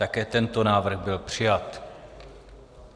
Také tento návrh byl přijat.